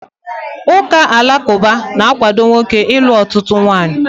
Ụka alakụba na-akwado nwoke ịlụ ọtụtụ nwaanyị.